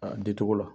A di cogo la